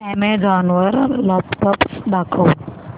Amazon वर laptops दाखव